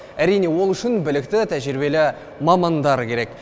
әрине ол үшін білікті тәжірибелі мамандар керек